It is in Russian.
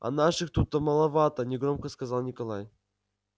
а наших то тут маловато негромко сказал николай